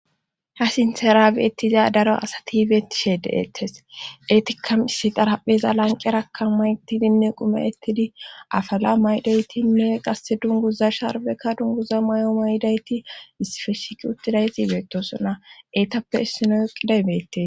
Ha sintherabeettiza daro asatibetishe deettes etikkam issi darapheza lanqerakka maytidinne qume ettidi afala maydaytinne qasse dunguza sharbeka dunguza may7o may7dayti isfeshiki uttiday tibeetosona eetappe issino yoqiday beettee.